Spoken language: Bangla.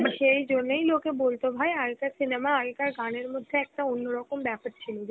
সেই জন্যই লোকে বলত ভাই, আগেকার cinema, আগেকার গানের মধ্যে, একটা অন্য রকম ব্যাপার ছিলো.